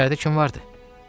İçəridə kim vardı?